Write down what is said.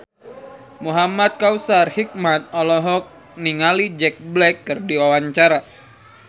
Muhamad Kautsar Hikmat olohok ningali Jack Black keur diwawancara